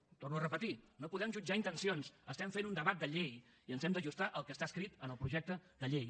ho torno a repetir no podem jutjar intencions estem fent un debat de llei i ens hem d’ajustar al que està escrit en el projecte de llei